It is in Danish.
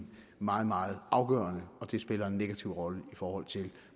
meget meget afgørende og det spiller en negativ rolle i forhold til